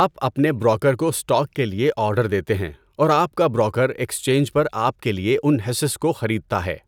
آپ اپنے بروکر کو اسٹاک کے لیے آرڈر دیتے ہیں اور آپ کا بروکر ایکسچینج پر آپ کے لیے ان حصص کو خریدتا ہے۔